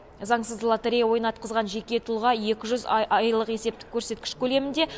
заңсыз лотерея ойнатқызған жеке тұлға екі жүз айлық есептік көрсеткіш көлемінде